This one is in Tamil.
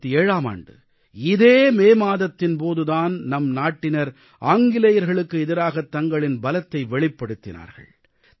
1857ஆம் ஆண்டு இதே மே மாதத்தின் போது தான் நம் நாட்டினர் ஆங்கிலேயர்களுக்கு எதிராகத் தங்களின் பலத்தை வெளிப்படுத்தினார்கள்